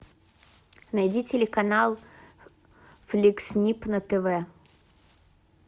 найди телеканал фликс снип на тв